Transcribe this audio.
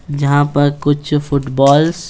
जहाँ पर कुछ फुटबॉल्स --